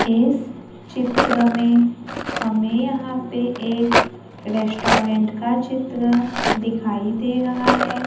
इस चित्र में हमें यहां पर एक रेस्टोरेंट का चित्र दिखाई दे रहा है।